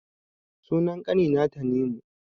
Sunan ƙani na Tanimu